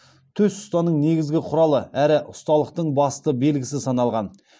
төс ұстаның негізгі құралы әрі ұсталықтың басты белгісі саналған